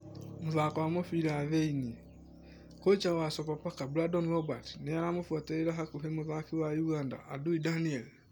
(Mũthako ma mũbira Thiĩnĩ) Kocha wa Sopapaka Brandon Robert nĩ aramufuaterĩra hakuhe mũthaki wa Ũganda Andui Daniel.